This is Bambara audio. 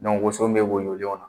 woso min bɛ woyo na